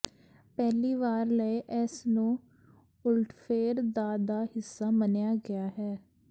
ਪਹਿਲੀ ਵਾਰ ਲਈ ਇਸ ਨੂੰ ਉਲਟਫੇਰ ਦਾ ਦਾ ਹਿੱਸਾ ਮੰਨਿਆ ਗਿਆ ਹੈ